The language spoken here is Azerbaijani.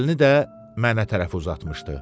Əlini də mənə tərəf uzatmışdı.